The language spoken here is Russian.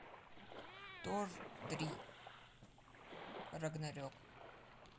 тор три рагнарек